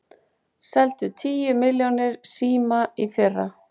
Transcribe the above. Seldu tíu milljónir síma í fyrra